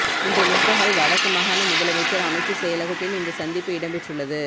இன்று முற்பகல் வடக்கு மாகாண முதலமைச்சர் அமைச்சு செயலகத்தில் இந்த சந்திப்பு இடம்பெற்றுள்ளது